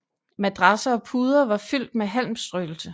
Madrasser og puder var fyldt med halmstrøelse